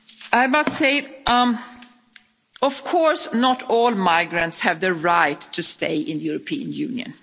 I must say that, of course, not all migrants have the right to stay in the European Union.